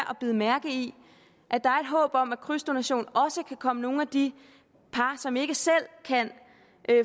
bide mærke i at der er håb om at krydsdonation også kan komme nogle af de par som ikke selv kan